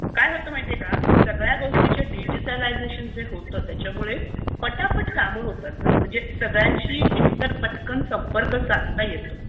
काय होतं माहीत आहे का? सगळ्या गोष्टींचं डिजिटलायझेशन जे होतं त्याच्यामुळे पटापट कामं होतात गं. म्हणजे सगळ्यांशी एकतर पटकन संपर्क साधता येतो